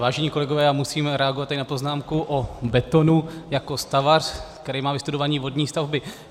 Vážení kolegové, já musím reagovat na poznámku o betonu jako stavař, který má vystudované vodní stavby.